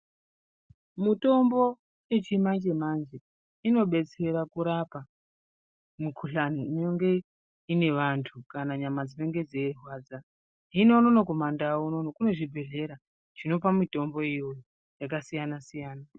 Mitombo yechimanje manje inobetsera kurapa mukuhlani inenge iine vantu kana nyama dzinenge dzeirwadza kino unono kumandau kune zvibhedhlera zvinopa mitombo iyoyo yakasiyana siyana.